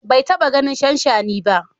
Bai taɓa ganin shanshani ba.